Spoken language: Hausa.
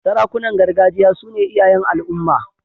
Sarakunan gargajiya su ne iyayen al'umma.